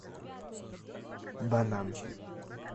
банан